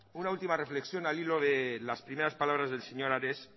una última reflexión al hilo de las primeras palabras del señor ares